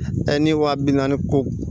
Ta ni wa bi naani ko